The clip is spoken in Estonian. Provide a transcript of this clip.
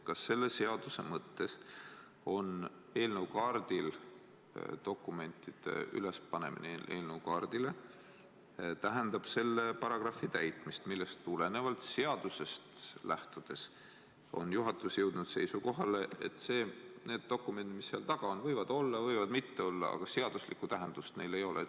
Kas selle seaduse mõttes dokumentide ülespanemine eelnõukaardile tähendab selle paragrahvi täitmist, millest tulenevalt on juhatus seadusest lähtudes jõudnud seisukohale, et need dokumendid, mis seal taga on, võivad seal olla ja võivad mitte olla, aga seaduslikku tähendust neil ei ole?